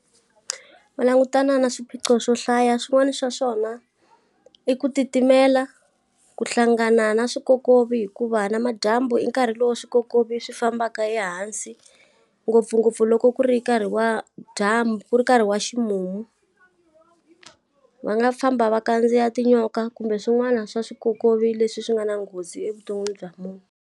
Va langutana na swiphiqo swo hlaya swin'wana swa swona, i ku titimela, ku hlangana na swikokovi hikuva na madyambu i nkarhi lowu swikokovi swi fambaka ehansi. Ngopfungopfu loko ku ri nkarhi wa dyambu ku ri nkarhi wa ximumu. Va nga famba va kandziya tinyoka kumbe swin'wana swa swikokovi leswi swi nga na nghozi evuton'wini bya munhu.